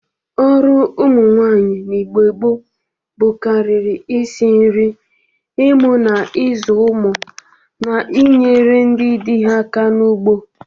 Ọrụ ụmụ nwaanyị n'Igbo gboo ḅụkarịrị isi nri, imụ na ịzụ ụmụ na inyere ndị dị ha aka n'ugbo.